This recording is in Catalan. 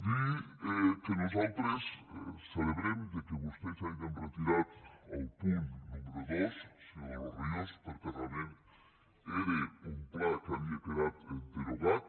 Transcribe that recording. dir que nosaltres celebrem que vostès hagin retirat el punt número dos senyor de los ríos perquè realment era un pla que havia quedat derogat